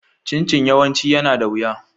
Chin-Chin yawanci yana da wuya.